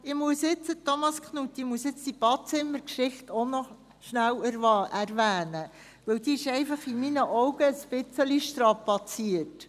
Thomas Knutti, jetzt muss ich diese Badezimmergeschichte auch noch schnell erwähnen, denn sie ist aus meiner Sicht einfach ein wenig strapaziert.